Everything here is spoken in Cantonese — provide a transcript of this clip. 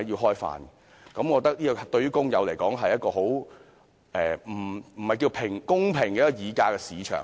我覺得對工友來說，這不是一個公平的議價市場。